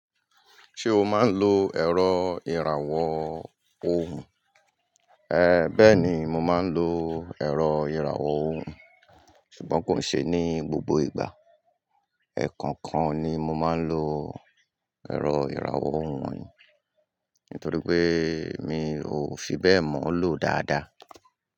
Ṣé o máa ń lo ẹ̀rọ ìràwọ̀ ohùn? Bẹ́ẹ̀ ni, mo máa ń lo ẹ̀rọ ìràwọ̀ ohùn, ṣùgbọ́n kò ṣe ní gbogbo ìgbà. Ẹ̀ẹ̀kọ̀kan ni mo máa ń lo ẹ̀rọ ìràwọ̀ ohùn yìí, nítorí pé mi ò fi bẹ́ẹ̀ mọ̀ ọ́ lò dáadáa.